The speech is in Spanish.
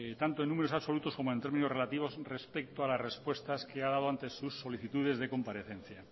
tanto en números absolutos como en términos relativos respecto a las respuestas que ha dado sus solicitudes de comparecencia